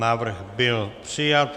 Návrh byl přijat.